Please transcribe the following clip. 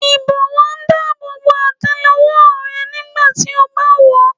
Ìbọ́wọ́ ń dáàbò bo àtélé-ọwọ́ rẹ nígbà tí a bá wọ̀ ọ́.